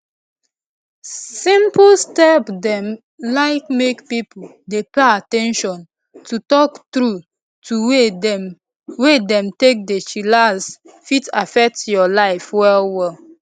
simple step dem like make pipo dey pay at ten tion to talk trueto way dem wey dem take dey chillax fit affect your life well well